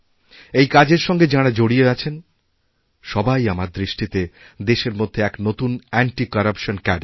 এই কাজেরসঙ্গে যাঁরা জড়িয়ে আছেন সবাই আমার দৃষ্টিতে দেশের মধ্যে এক নতুন অ্যান্টিকরাপশন ক্যাডরে